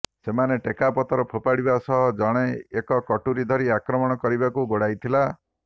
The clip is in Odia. ସେମାନେ ଟେକାପଥର ପୋଫାଡିବା ସହ ଜଣେ ଏକ କଟୁରୀ ଧରି ଆକ୍ରମଣ କରିବାକୁ ଗୋଡାଇଥିଲା